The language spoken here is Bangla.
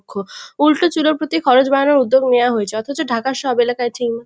উল্টো চুলোর প্রতি খরচ বাড়ানোর উদ্যোগ নেয়া হয়েছে অথচ ঢাকার সব এলাকায় --